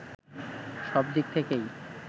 সব দিক থেকেই